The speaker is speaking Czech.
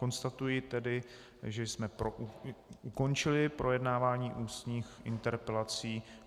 Konstatuji tedy, že jsme ukončili projednávání ústních interpelací.